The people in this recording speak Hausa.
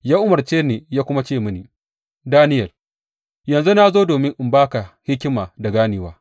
Ya umarce ni ya kuma ce mini, Daniyel, yanzu na zo domin in ba ka hikima da ganewa.